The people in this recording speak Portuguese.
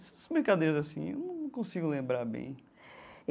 Essas brincadeiras assim, eu não consigo lembrar bem.